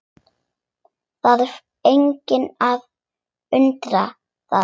Þarf engan að undra það.